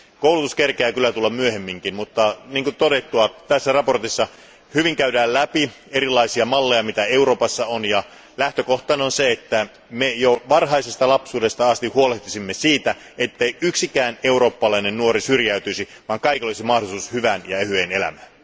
Koulutus kerkeää kyllä tulla myöhemminkin, mutta niin kuin on todettu, tässä mietinnössä käydään hyvin läpi erilaisia malleja, joita Euroopassa on, ja lähtökohtana on se, että me jo varhaisesta lapsuudesta asti huolehtisimme siitä, ettei yksikään eurooppalainen nuori syrjäytyisi, vaan kaikilla olisi mahdollisuus hyvään ja ehyeen elämään.